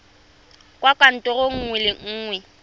kwa kantorong nngwe le nngwe